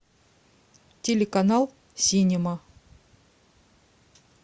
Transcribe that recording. телеканал синема